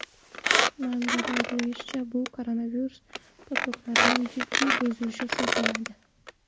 Manbada aytilishicha, bu koronavirus protokolining jiddiy buzilishi hisoblanadi.